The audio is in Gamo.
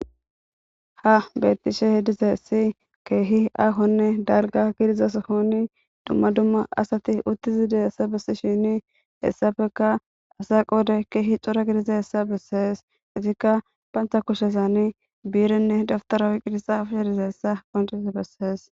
Ha beettishe hidizassi keehi aahonne dalga gidiza sohoni dumma dumma asati uttizi dizayessa bessishini hessappeka asa qoode keehi cora gidiza hessa bessees. itikka bantha kushezani biirenne dawtara oyqidiza xaafishe dizayssa qoncis bessees.